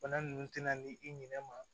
Bana nunnu tɛna ni i ɲinɛ ma